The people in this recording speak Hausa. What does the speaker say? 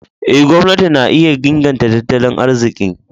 Eh, gwamnati na iya inganta tattali arzikin.